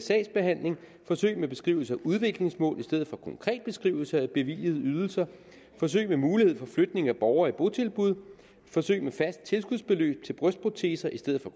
sagsbehandling forsøg med beskrivelse af udviklingsmål i stedet for konkret beskrivelse af bevilligede ydelser forsøg med mulighed for flytning af borgere i botilbud forsøg med fast tilskudsbeløb til brystproteser i stedet for